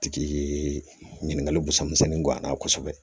Tigi ye ɲininkali busan misɛnnin goy'an na kosɛbɛ